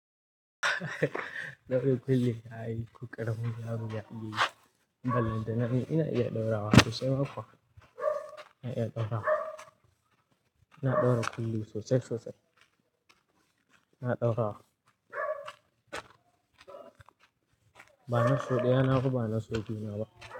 Ina ɗaurawa kullum, yayi ƙuƙara mun yaro ya bi. Amma banda nan ina iya ɗaura wa sosai ma kuwa. Ina iya ɗaura. Ina ɗaura kullum sosai sosai. Ina ɗaura wa. Ba na so ɗaya na hagu, ba na so biyu na ba.